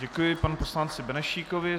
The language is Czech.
Děkuji panu poslanci Benešíkovi.